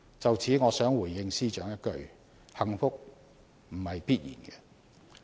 就此，我想回應司長一句，幸福不是必然。